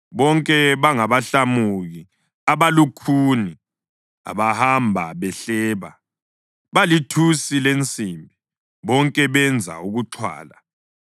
Bonke bangabahlamuki abalukhuni, abahamba behleba. Balithusi lensimbi, bonke benza ukuxhwala.